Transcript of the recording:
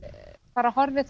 bara horfið